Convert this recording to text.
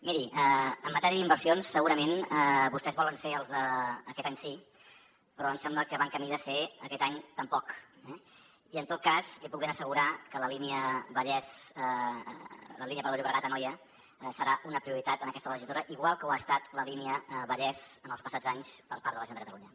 miri en matèria d’inversions segurament vostès volen ser els d’aquest any sí però em sembla que van camí de ser aquest any tampoc eh i en tot cas li puc ben assegurar que la línia llobregat anoia serà una prioritat en aquesta legislatura igual com ho ha estat la línia vallès en els passats anys per part de la generalitat de catalunya